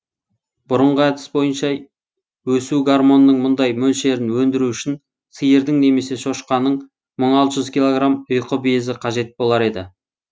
бұрынғы әдіс бойынша өсу гормонының мұндай мөлшерін өндіру үшін сиырдың немесе шошқаның мың алты жүз килограмм ұйқы безі қажет болар еді